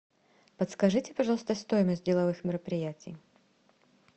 подскажите пожалуйста стоимость деловых мероприятий